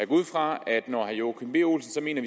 ud fra at når herre joachim b olsen mener